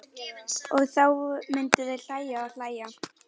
Og þá myndu þau hlæja og hlæja.